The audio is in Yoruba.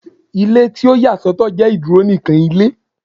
Ile ti o ya sọtọ jẹ iduro nikan Ilé